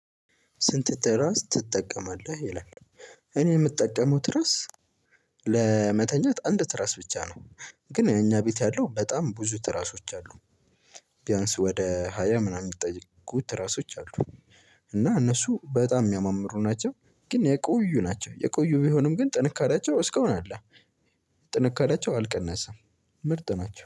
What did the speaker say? ስንት ትራስ ትጠቀማለህ ይላል? እኔ የምጠቀመው ትራስ ለመተኛት አንድ ትራስ ብቻ ነው። ግን የኛ ቤት ያለው በጣም ብዙ ትራሶች አሉ። ቢያንስ ወደ ሃያ ምናምን የሚጠጉ ትራሶች አሉ። እና እነሱ በጣም የሚያማምሩ ናቸው። ግን የቆዩ ናቸው የቆዩ ቢሆንም ግን ጥንካሬያቸው እስከ አሁን አለ። ጥንካሬያቸው አልቀነሰም። ምርጥ ናቸው